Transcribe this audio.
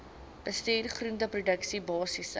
bestuur groenteproduksie basiese